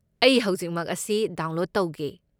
ꯑꯩ ꯍꯧꯖꯤꯛꯃꯛ ꯃꯁꯤ ꯗꯥꯎꯟꯂꯣꯗ ꯇꯧꯒꯦ꯫